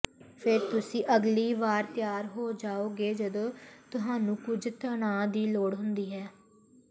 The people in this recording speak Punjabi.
ਫਿਰ ਤੁਸੀਂ ਅਗਲੀ ਵਾਰ ਤਿਆਰ ਹੋ ਜਾਓਗੇ ਜਦੋਂ ਤੁਹਾਨੂੰ ਕੁਝ ਤਣਾਅ ਦੀ ਲੋੜ ਹੁੰਦੀ ਹੈ